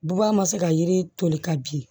Buba ma se ka yiri toli ka bin